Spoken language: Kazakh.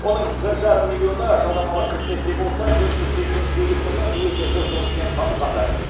оның бір жарым миллионы жалдамалы қызметте болса төрт жүз сексен сегіз мыңы өзін өзі жұмыспен қамтығандар